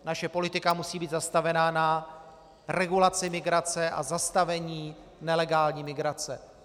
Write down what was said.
Naše politika musí být postavena na regulaci migrace a zastavení nelegální migrace.